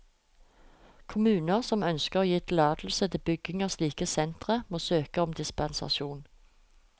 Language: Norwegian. Kommuner som ønsker å gi tillatelse til bygging av slike sentre, må søke om dispensasjon.